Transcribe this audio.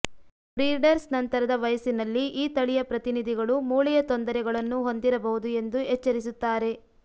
breeders ನಂತರದ ವಯಸ್ಸಿನಲ್ಲಿ ಈ ತಳಿಯ ಪ್ರತಿನಿಧಿಗಳು ಮೂಳೆಯ ತೊಂದರೆಗಳನ್ನು ಹೊಂದಿರಬಹುದು ಎಂದು ಎಚ್ಚರಿಸುತ್ತಾರೆ